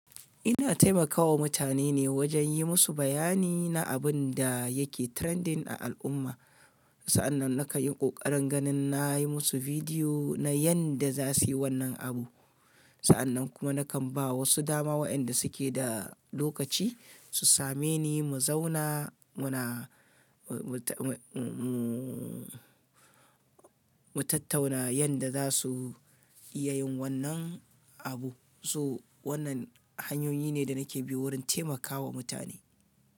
Ina taimakawa mutane ne wajen yi musu bayani na abun da yake trending a al'umma. Sa'annan nakan yi ƙoƙarin ganin na yi musu bidiyo na yanda za su yi wannan abu. Sa'annan kuma nakan ba wasu dama wa'inda suke da lokaci su same ni mu zauna muna, mu, mu, mu, mu tattauna yanda za su iya yin wannan abu. So wannan hanyoyi ne da nake bi wurin taimakawa mutane.